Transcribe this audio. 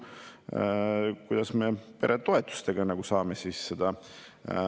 Ja kõige hullem on see, et enne Riigikogu valimisi ei olnud nendest absoluutselt juttu.